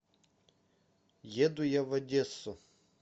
еду я в одессу